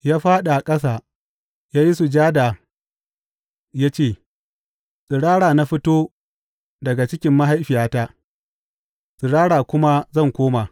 Ya fāɗi a ƙasa ya yi sujada ya ce, Tsirara na fito daga cikin mahaifiyata, tsirara kuma zan koma.